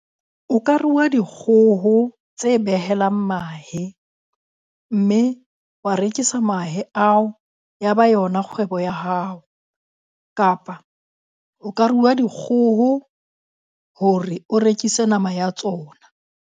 O ka re rua dikgoho tse behelang mahe, mme wa rekisa mahe ao, ya ba yona kgwebo ya hao. Kapa o ka rua dikgoho hore o rekise nama ya tsona.